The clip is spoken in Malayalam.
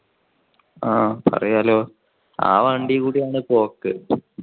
ആ പറയാലോ ആ വണ്ടികൂടിയാണ് പോക്ക്.